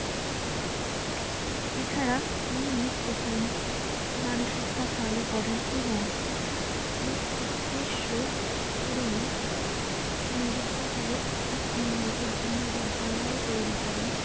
এছাড়া তিনি প্রথম নারী শিক্ষা চালু করেন এবং এ উদ্দেশ্য পূরণে বিদ্যাসাগর মেয়েদের জন্য বিদ্যালয় তৈরি করেন।